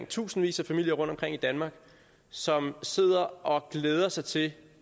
tusindvis af familier rundtomkring i danmark som sidder og glæder sig til